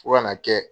Fo ka n'a kɛ